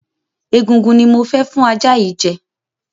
Egungun ni mo fẹ́ fún ajá yìí jẹ.